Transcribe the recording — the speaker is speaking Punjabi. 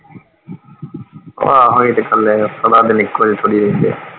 ਆਹੋ ਇਹ ਤੇ ਗੱਲ ਹੈ, ਸਦਾ ਦਿਨ ਇਕੋ ਹੀ ਥੋੜੀ ਰਹਿੰਦੇ ਆ।